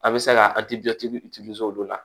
A bɛ se ka olu de la